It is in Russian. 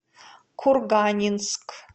курганинск